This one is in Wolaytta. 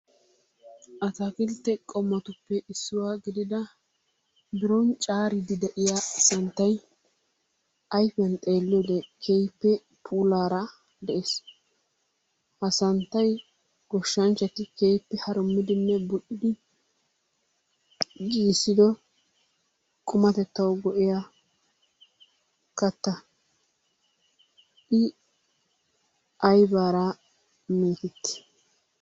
Ataakkiltee qommotuppe issuwa gidida biron caariidi de'iya santtay ayfiyan xeeliyode keehippe puulaara de'ees. Ha santtay goshshanchchati keehippe harummidinne buli"idi giggissiddo qummatettawu go'iya katta. I aybaara meetetti?